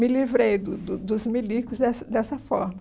Me livrei do do dos milicos dessa dessa forma.